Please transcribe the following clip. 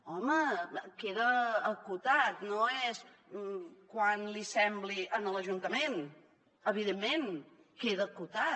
home queda acotat no és quan li sembli a l’ajuntament evidentment queda acotat